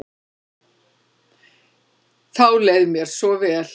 Þá leið mér svo vel.